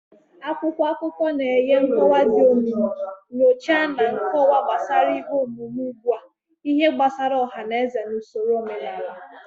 Akwụkwọ akụkọ na-enye nkọwa dị omimi, nyocha na nkọwa gbasara ihe omume ugbu a, ihe gbasara ọha na eze na usoro omenala.